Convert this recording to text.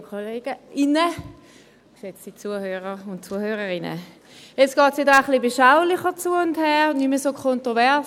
der BaK. Jetzt geht es etwas beschaulicher zu und her, und nicht mehr so kontrovers.